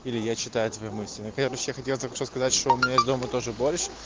или я читаю твои мысли ну короче я хотел сказать что у меня есть дома тоже борщ